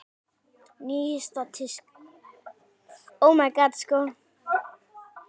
Nýjasta tíska?